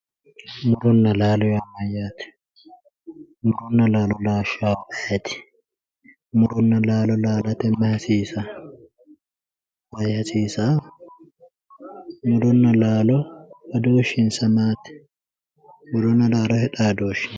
Muronna laalo yaa mayyate, muronna laalo laashshannohu ayeeti, muronna laalo laalate mayi hasiisanno, mayi hasiisayo, murona laalo badooshinsa maati, murona laalote xaadooshshi maati.